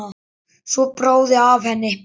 Svo bráði af henni.